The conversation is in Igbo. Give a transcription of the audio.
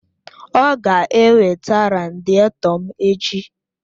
Ọ ga-eweta radịètọ m echi!